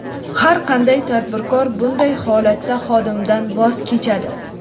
har qanday tadbirkor bunday holatda xodimdan voz kechadi.